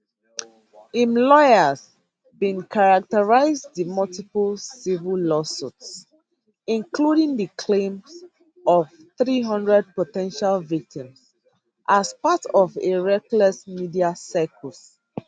im lawyers bin characterise di multiple civil lawsuits including di claims of 300 po ten tial victims as part of a reckless media circus